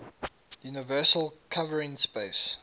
universal covering space